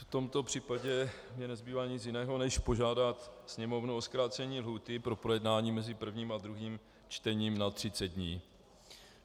V tomto případě mi nezbývá nic jiného než požádat Sněmovnu o zkrácení lhůty na projednání mezi prvním a druhým čtením na 30 dní.